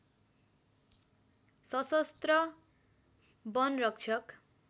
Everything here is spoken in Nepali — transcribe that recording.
सशस्त्र वनरक्षक